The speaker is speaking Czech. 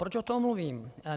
Proč o tom mluvím?